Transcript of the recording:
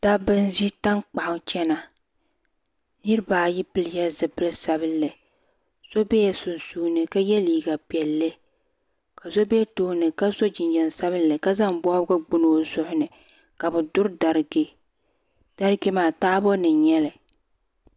Dabba n ʒi tankpaɣu chana niriba ayi pili la zipili sabila so bela sunsuuni ka yɛ liiga piɛlli ka so bɛ tooni ka so jinjam sabinli ka zaŋ bɔbgu gbuni o zuɣu ni ka bi duri dariga dariga maa taabo nim n nyɛli.